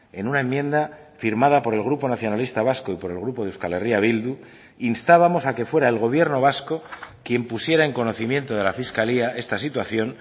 en una enmienda firmada por el grupo nacionalista vasco y por el grupo de euskal herria bildu instábamos a que fuera el gobierno vasco quien pusiera en conocimiento de la fiscalía esta situación